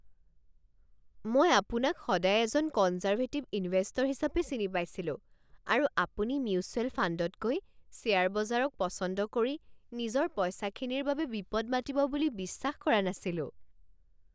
মই আপোনাক সদায় এজন কনজাৰ্ভেটিভ ইনভেষ্টৰ হিচাপে চিনি পাইছিলোঁ আৰু আপুনি মিউচুৱেল ফাণ্ডতকৈ শ্বেয়াৰ বজাৰক পচন্দ কৰি নিজৰ পইচাখিনিৰ বাবে বিপদ মাতিব বুলি বিশ্বাস কৰা নাছিলোঁ।